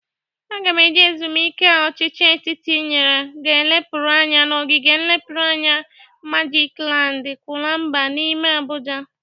Aga m eje ezumuike a ọchịchị etiti nyere ga lepụrụ anya n'ogige nlepụrụ anya magik land, Kunkwaba n'ime Abụja.